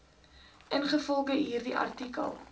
ingevolge hierdie artikel